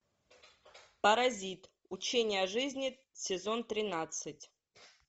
паразит учение о жизни сезон тринадцать